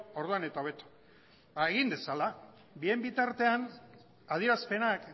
orduan eta hobeto ba egin dezala bien bitartean adierazpenak